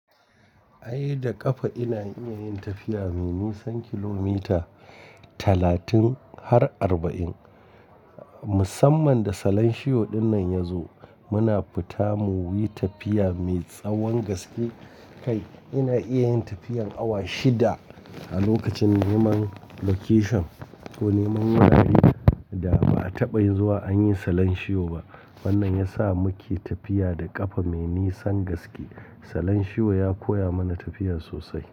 Ai da ƙafa ina iya yin tafiya mai nisan kilomita talatin har arba'in. Musamman da salon shiyo dinnan ya zo muna fita mu yi tafiya mai tsawon gaske kai. Ina iya yin tafiyan awa shida a lokacin neman location ko neman wurare da ba a taɓa zuwa an yi salon shiyo ba. Wannan ya sa muke tafiya da ƙafa mai nisan gaske. Salon shiyo ya koya mana tafiya sosai.